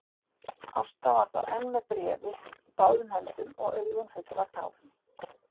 Ásta var þá enn með bréfið í báðum höndum og augun full af tárum.